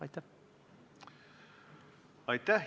Aitäh!